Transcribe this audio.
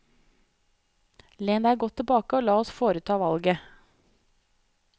Len deg godt tilbake og la oss foreta valget.